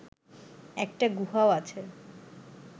একটা গুহাও আছে